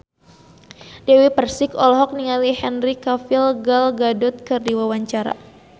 Dewi Persik olohok ningali Henry Cavill Gal Gadot keur diwawancara